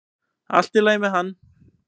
Allt í lagi með hann!